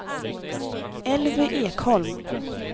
Elvy Ekholm